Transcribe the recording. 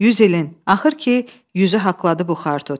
100 ilin, axır ki, 100-ü haqladı bu xar tut.